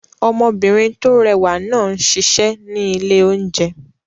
Ọmọbìnrin tó rẹwà náà ń ṣiṣẹ́ ní ilé-oúnjẹ